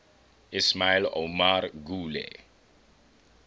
ismail omar guelleh